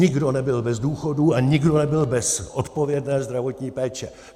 Nikdo nebyl bez důchodu a nikdo nebyl bez odpovědné zdravotní péče.